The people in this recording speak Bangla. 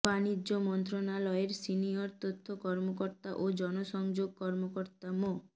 বাণিজ্য মন্ত্রণালয়ের সিনিয়র তথ্য কর্মকর্তা ও জনসংযোগ কর্মকর্তা মো